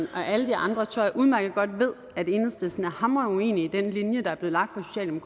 og alle de andre tror jeg udmærket godt ved at enhedslisten er hamrende uenig i den linje der er blevet lagt